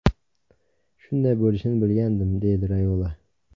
Shunday bo‘lishini bilgandim”, deydi Rayola.